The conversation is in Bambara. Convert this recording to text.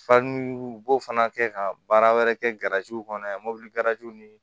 u b'o fana kɛ ka baara wɛrɛ kɛ kɔnɔ yan mobili ni